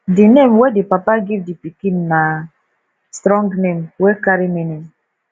di name wey di papa give di pikin na strong name wey carry meaning